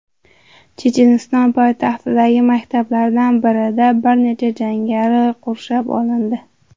Checheniston poytaxtidagi maktablardan birida bir necha jangari qurshab olindi.